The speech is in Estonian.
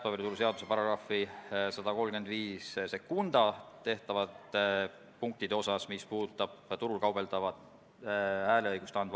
Samas selgus eile, et täiesti kaasamata on jäänud sihtgrupi teine pool, nimelt puudega inimesed ise ja nende esindaja Eesti Puuetega Inimeste Koda.